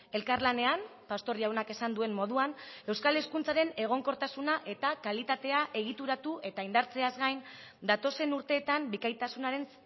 elkarlanean pastor jaunak esan duen moduan euskal hezkuntzaren egonkortasuna eta kalitatea egituratu eta indartzeaz gain datozen urteetan bikaintasunaren